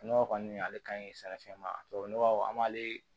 Nɔgɔ kɔni ale ka ɲi sɛnɛfɛn ma tubabu nɔgɔ an b'ale